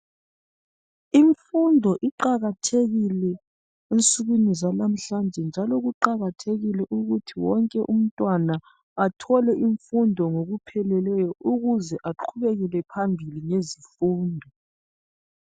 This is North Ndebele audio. Imfundo iqakathekile ensukwini zanamhlanje njalo kuqakathekile ukuthi wonke umntwana athole imfundo ngokupheleleyo ukuze aqhubekele phambili ngezifundo